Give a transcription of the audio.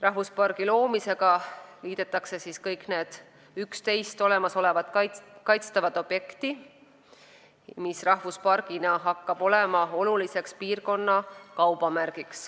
Rahvuspargi loomisega liidetakse kõik 11 olemasolevat kaitstavat objekti ja rahvuspark hakkab olema piirkonna oluline kaubamärk.